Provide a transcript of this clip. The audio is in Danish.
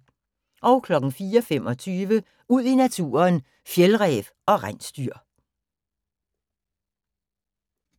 04:25: Ud i naturen: Fjeldræv og rensdyr